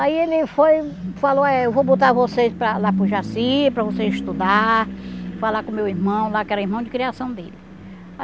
Aí ele foi falou, é eu vou botar vocês para lá para o Jaci, para vocês estudar, falar com o meu irmão lá, que era irmão de criação dele.